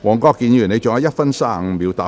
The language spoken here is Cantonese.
黃國健議員，你還有1分35秒答辯。